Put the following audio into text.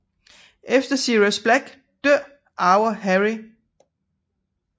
Efter Sirius Black dør arver Harry Kræ